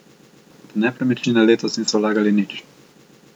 V nepremičnine letos niso vlagali nič.